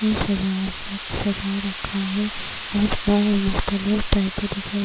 ہے سجا ہوا سجا رکھا ہے اور مختلف دکھائی--